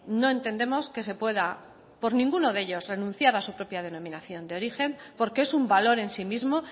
no entendemos que se pueda por ninguno de ellos renunciar a su propia denominación de origen porque es un valor en sí mismo